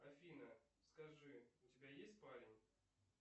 афина скажи у тебя есть парень